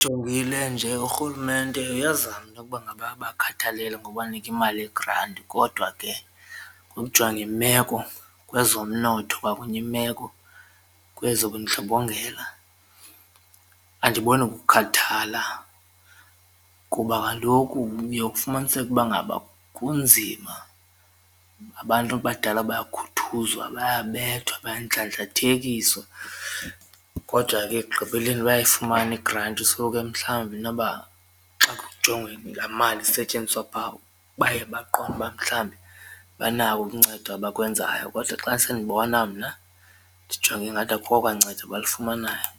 Ndijongile nje urhulumente uyazama intokuba ngaba abakhathalele ngokubanika imali yegranti kodwa ke ngokujonga imeko kwezomnotho kwakunye imeko kwezobundlobongela andiboni kukhathala kuba kaloku uye ufumaniseke ukuba ngaba kunzima abantu abadala bayakhuthuzwa, bayabethwa, bayandlandlathekiswa kodwa ke ekugqibeleni bayayifumana igranti. So ke mhlawumbi inoba xa kujongwa laa mali isetyenziswa pha baye baqonde uba mhlawumbi banawo uncedo abakwenzayo kodwa xa sendibona mna ndijonge ingathi akho kwancedo abalifumanayo.